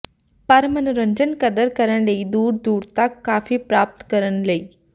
ਪਰ ਮਨੋਰੰਜਨ ਕਦਰ ਕਰਨ ਲਈ ਦੂਰ ਦੂਰ ਤਕ ਕਾਫ਼ੀ ਪ੍ਰਾਪਤ ਕਰਨ ਲਈ